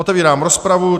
Otevírám rozpravu.